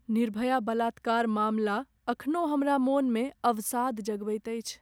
निर्भया बलात्कार मामला एखनो हमर मोनमे अवसाद जगबैत अछि।